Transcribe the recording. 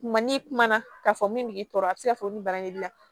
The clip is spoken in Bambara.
Kuma ni kuma na k'a fɔ min b'i tɔɔrɔ a bɛ se ka fɔ olu ban de b'i la